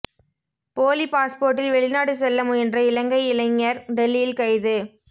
polyp பாஸ்போர்டில் வெளிநாடு செல்ல முயன்ற இலங்கை இளைஞர் டெல்லியில் கைது